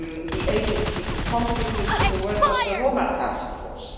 the agency to contribute to the work of the Roma task force.